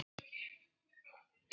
Hvað þarf að gera?